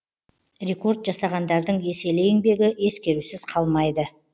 рекорд жасағандардың еселі еңбегі ескерусіз қалмайды